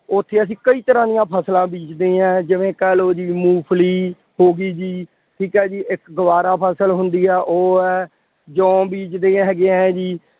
ਉੱਥੇ ਅਸੀਂ ਕਈ ਤਰ੍ਹਾਂ ਦੀਆਂ ਫਸਲਾਂ ਬੀਜਦੇ ਹਾਂ। ਜਿਵੇਂ ਕਹਿ ਲਉ ਜੀ ਮੂੰਗਫਲੀ ਹੋਗੀ ਜੀ, ਠੀਕ ਹੈ ਜੀ, ਇੱਕ ਗਵਾਰਾ ਫਸਲ ਹੁੰਦੀ ਹੈ, ਉਹ ਹੈ, ਜੌ ਬੀਜਦੇ ਹੈਗੇ ਆ ਹੈ ਜੀ।